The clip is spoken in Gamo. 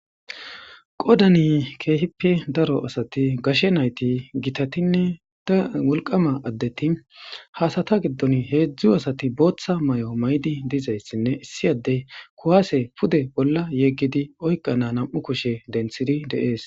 Qoodani keehippe daro asati gashe naati, gitatinne wolqqama addeti ha asata gidoni heezzu asati booththa mayo mayizi dizaysinne issi ade kuwaase pude bolla yegidinne oyqqana nam'u kushe dentidi de'ees.